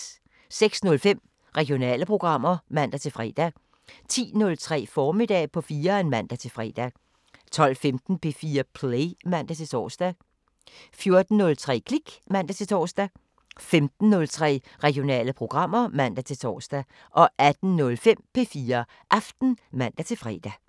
06:05: Regionale programmer (man-fre) 10:03: Formiddag på 4'eren (man-fre) 12:15: P4 Play (man-tor) 14:03: Klik (man-tor) 15:03: Regionale programmer (man-tor) 18:05: P4 Aften (man-fre)